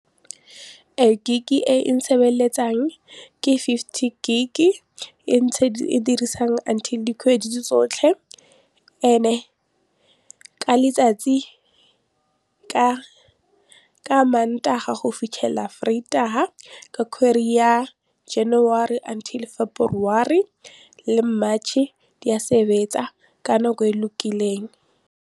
Ee gig e ke fifty gig e ntse e dirisang until dikgwedi tse tsotlhe and-e ka letsatsi ka mantaga go fitlhela vrydag-a ka ya january until february le march-e di a sebetsa ka nako e lokileng.